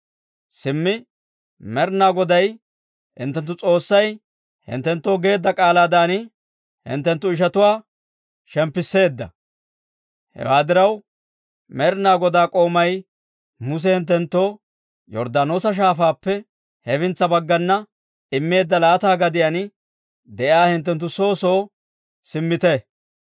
Simmi Med'ina Goday hinttenttu S'oossay unttunttoo geedda k'aalaadan, hinttenttu ishatuwaa shemppisseedda. Hewaa diraw, Med'ina Godaa k'oomay Muse hinttenttoo Yorddaanoosa Shaafaappe hefintsa baggana immeedda laata gadiyaan de'iyaa hinttenttu soo soo simmite.